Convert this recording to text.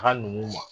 A ka n'u ma